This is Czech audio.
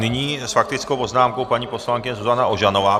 Nyní s faktickou poznámkou paní poslankyně Zuzana Ožanová.